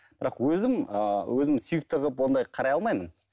бірақ өзім ыыы өзім сүйікті қылып ондай қарай алмаймын